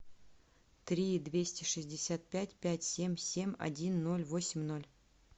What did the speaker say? три двести шестьдесят пять пять семь семь один ноль восемь ноль